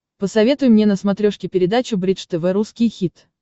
посоветуй мне на смотрешке передачу бридж тв русский хит